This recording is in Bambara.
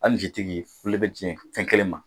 fɛn kelen ma